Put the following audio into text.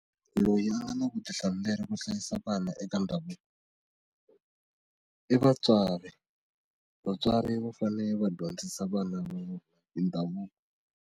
Loyi a nga na vutihlamuleri ku hlayisa vana eka ndhavuko i vatswari vatswari va fane va dyondzisa vana hi ndhavuko.